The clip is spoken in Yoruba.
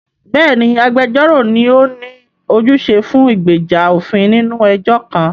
Bẹ́ẹ̀ni, agbẹjọ́rò ni ó ní ojúṣe fún ìgbèjà òfin nínú ẹjọ́ kan.